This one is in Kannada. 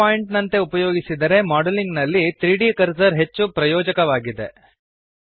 ಪಿವಟ್ ಪಾಇಂಟ್ ನಂತೆ ಉಪಯೋಗಿಸಿದರೆ ಮಾಡೆಲಿಂಗ್ ನಲ್ಲಿ 3ದ್ ಕರ್ಸರ್ ಹೆಚ್ಚು ಪ್ರಯೋಜಕವಾಗಿದೆ